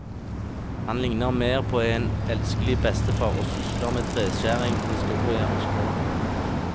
Han ligner mer på en elskelig bestefar, og sysler med treskjæring, historie og språk.